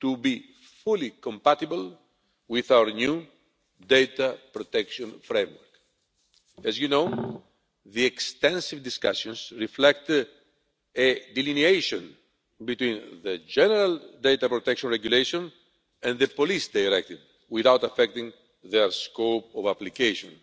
to be fully compatible with our new data protection framework. As you know, the extensive discussions reflect a delineation between the General Data Protection Regulation and the Police Directive without affecting their scope of application.